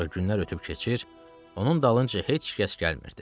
Ancaq günlər ötüb keçir, onun dalınca heç kəs gəlmirdi.